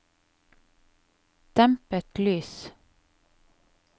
dempet lys